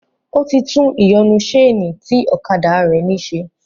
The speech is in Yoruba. Ó ti tún ìyọnu sénì tí ọ̀kadà rẹ̀ ní se